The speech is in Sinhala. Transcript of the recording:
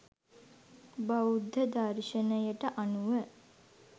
බෞද්ධ දර්ශනයට අනුව